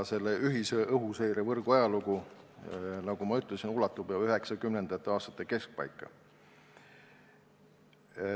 Selle ühise õhuseirevõrgu ajalugu ulatub juba 1990. aastate keskpaika.